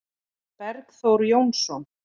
Bergþór Jónsson